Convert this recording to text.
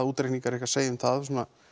útreikningar ykkar segja um það